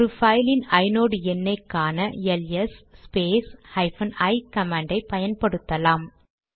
ஒரு பைலின் ஐநோட் எண்ணை காண ls space hyphen i command ஐ பயன்படுத்தலாம்